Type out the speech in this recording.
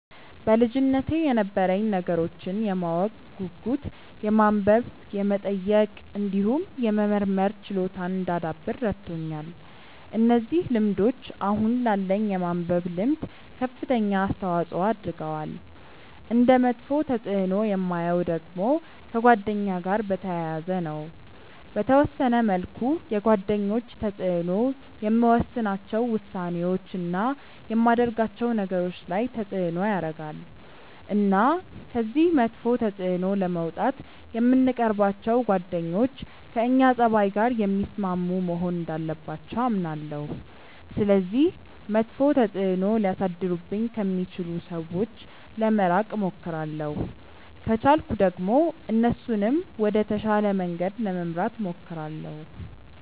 በልጅነቴ የነበረኝ ነገሮችን የማወቅ ጉጉት የማንበብ የመጠየቅ እንዲሁም የመመርመር ችሎታን እንዳዳብር ረድቶኛል። እነዚህ ልምዶች አሁን ላለኝ የማንበብ ልምድ ከፍተኛ አስተዋጽዖ አድርገዋል። እንደ መጥፎ ተፅእኖ የማየው ደግሞ ከጓደኛ ጋር በተያያዘ ነው። በተወሰነ መልኩ የጓደኞች ተጽእኖ የምወስናቸው ውሳኔዎች፣ እና የማደርጋቸው ነገሮች ላይ ተጽእኖ ያረጋል። እና ከዚህ መጥፎ ተጽእኖ ለመውጣት የምንቀርባቸው ጓደኞች ከእኛ ፀባይ ጋር የሚስማሙ መሆን እንዳለባቸው አምናለሁ። ስለዚህ መጥፎ ተጽእኖ ሊያሳድሩብኝ ከሚችሉ ሰዎች ለመራቅ እሞክራለሁ። ከቻልኩ ደግሞ እነሱንም ወደ ተሻለ መንገድ ለመምራት እሞክራለሁ።